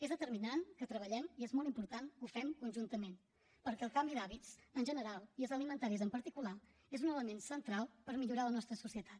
és determinant que treballem i és molt important que ho fem conjuntament perquè el canvi d’hàbits en general i els alimentaris en particular és un element central per millorar la nostra societat